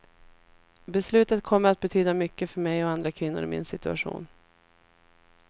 Beslutet kommer att betyda mycket för mig och andra kvinnor i min situation.